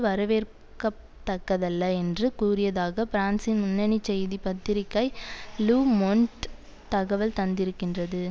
வரவேற்கத்தக்கதல்ல என்று கூறியதாக பிரான்சின் முன்னணி செய்தி பத்திரிகை லு மொண்ட் தகவல் தந்திருக்கின்றது